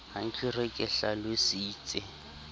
ha ke re ke hlalositse